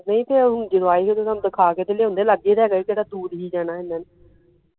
ਨਹੀਂ ਤੇ ਹੁਣ ਜਦੋ ਆਈ ਹੀ ਓਦੋ ਤੁਹਾਨੂੰ ਦਿਖਾ ਕੇ ਤਾ ਲਿਆਉਂਦੇ ਲਾਗੇ ਤੇ ਹੇਗਾ ਹੀ ਕਿਹੜਾ ਦੂਰ ਹੀ ਜਾਣਾ ਹੀ ਇਹਨਾਂ ਨੇ